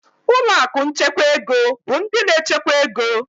Ụlọ akụ nchekwa ego bụ ndị na-echekwa ego.